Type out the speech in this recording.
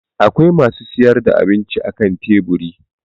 Akwai masu sayar da abinci akan teburi.